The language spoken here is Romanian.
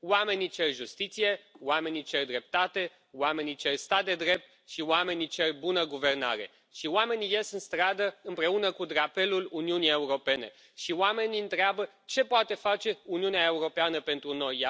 Oamenii cer justiție, oamenii cer dreptate, oamenii cer stat de drept și oamenii cer bună guvernare și oamenii ies în stradă, împreună cu drapelul Uniunii Europene și oamenii întreabă ce poate face Uniunea Europeană pentru noi?